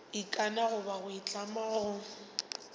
ikana goba go itlama go